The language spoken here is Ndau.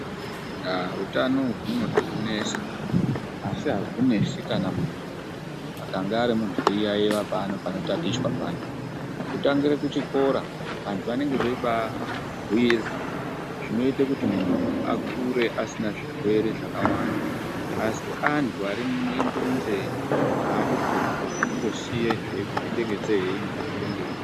Aaa!!,utano uhu hunode kunesa asi ahunesi kana muntu akange ari muntu eyiyayeya panotatichwa paya. Kutangire kuchikora vantu, vanenge veyibaabhuyirwa zvinoite kuti muntu akure asina zvirwere zvakawanda. Asi antu arimuno imburunzee, aadi kuzwa anondosiye zveyipinda nenzeve yeino zveyibude ngeyino.